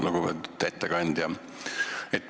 Lugupeetud ettekandja!